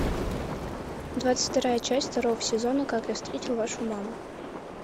двадцать вторая часть второго сезона как я встретил вашу маму